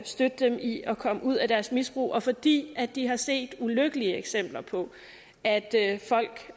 støtte dem i at komme ud af deres misbrug og fordi de har set ulykkelige eksempler på at folk